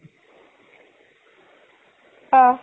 অ